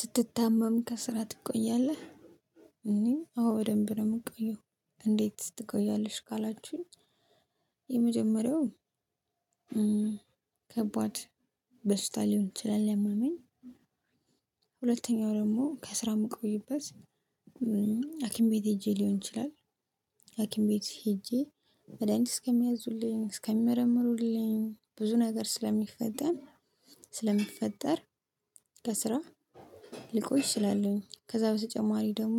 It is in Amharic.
ስትታመም ከስራ ትቆያለ? እኔ አዎ በደንብ ነው የምቆየው። እንዴት ትቆያለሽ? ካላችሁኝ። የመጀመሪያው ከባድ በሽታ ሊሆን ይችላል ያመመኝ። ሁለተኛው ደግሞ ከስራ የምቆይበት። ሀኪም ቤት ሄጄ ሊሆን ይችላል። ሀኪም ቤት ሄጄ መድሃኒት እስከሚያዙልኝ እስከሚመረምሩልኝ ብዙ ነገር ስለሚፈጠር ስለሚፈጠር። ከስራ ልቆይ እችላለሁኝ ከዛ በተጨማሪ ደግሞ።